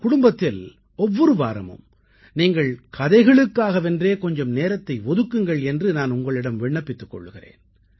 குடும்பத்தில் ஒவ்வொரு வாரமும் நீங்கள் கதைகளுக்காகவென்றே கொஞ்சம் நேரத்தை ஒதுக்குங்கள் என்று நான் உங்களிடம் விண்ணப்பித்துக் கொள்கிறேன்